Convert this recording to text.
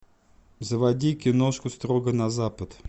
заводи киношку строго на запад